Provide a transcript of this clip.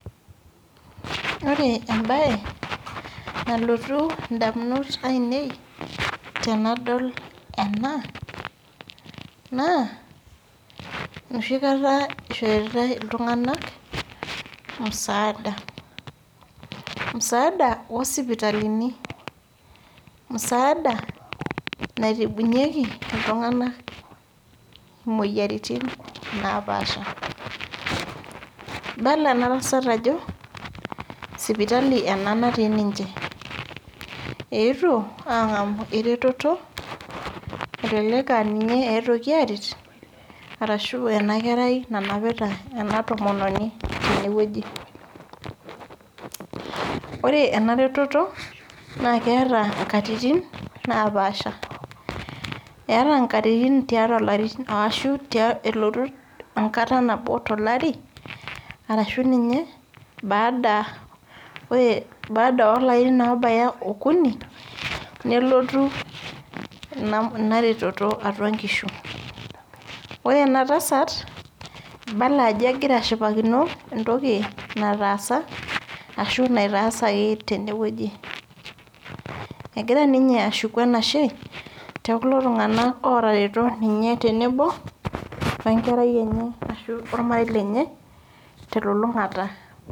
Ore ebae nalotu indamunot ainei, tenadol ena, naa enoshi kata ishoritai iltung'anak, musaada. Musaada osipitalini. Musaada naitibunyeki iltung'anak imoyiaritin napaasha. Ibala enatasat ajo, sipitali ena natii ninche. Eetuo ang'amu ina reteto, elelek ah ninye eetuoki aret, arashu enakerai nanapita ena tomononi tenewueji. Ore naa ena reteto na keeta inkatitin napaasha. Eeta nkatitin tiatua larin ashu elotu enkata nabo tolari, arashu ninye baada olarin obaya okuni, nelotu ina reteto atua nkishu. Ore enatasat, Ibala ajo egira ashipakino entoki nataasa ashu naitaasaki tenewueji. Egira ninye ashuku enashe, tekulo tung'anak otareto ninye tenebo wenkerai enye, ashu ormarei lenye telulung'ata.